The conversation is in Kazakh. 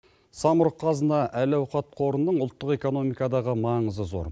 самұрық қазына әл ауқат қорының ұлттық экономикадағы маңызы зор